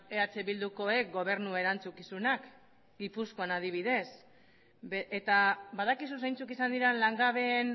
eh bildukoek gobernu erantzukizunak gipuzkoan adibidez eta badakizu zeintzuk izan diren langabeen